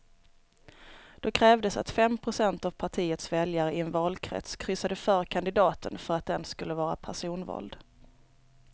Då krävdes att fem procent av partiets väljare i en valkrets kryssade för kandidaten för att den skulle vara personvald.